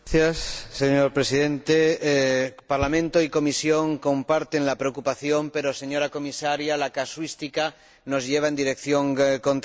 Señor Presidente, el Parlamento y la Comisión comparten la preocupación, pero, señora Comisaria, la casuística nos lleva en dirección contraria.